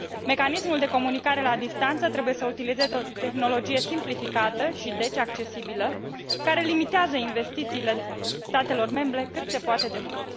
Mecanismul de comunicare la distanță trebuie să utilizeze o tehnologie simplificată și, deci, accesibilă, care limitează investițiile statelor membre cât se poate de mult.